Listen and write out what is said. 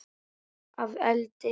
Að eldi?